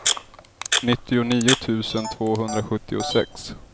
nittionio tusen tvåhundrasjuttiosex